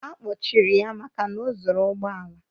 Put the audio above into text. A kpọchiri ya maka na o zuru ụgbọ ala.